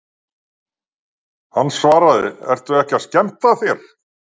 Hann svaraði, Ertu ekki að skemmta þér?